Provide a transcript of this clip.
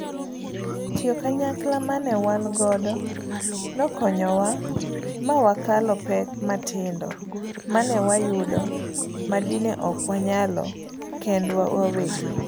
Tiyo kanyakla mane wan godo nokonyowa mawakalo pek matindo mane wayudo madine ok wanyalo kendwa wawegi.